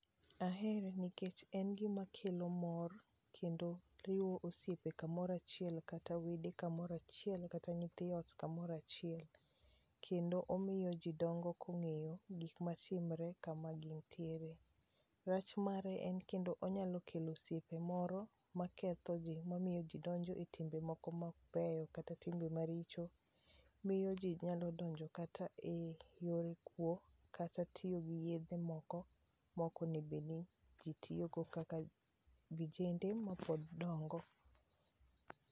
Ahere nikech en gima kelo mor kendo riwo osiepe kamoro achiel kata wede kamoro achiel kata nyithi ot kamoro achiel. Kendo omiyo ji dongo kong'eyo gik matimre kama gintiere. Rach mare en kendo onyalo kelo osiepe moro makethoji mamiyo jidonjo etimbe moko mok beyo kata timbe maricho, miyo ji nyalo donjo kata eyor kuo kata tiyo giyedhe moko mok onego niji tiyogo kaka vijende mapod dongo.